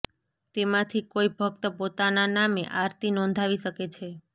તેમાંથી કોઈ ભક્ત પોતાના નામે આરતી નોંધાવી શકે છે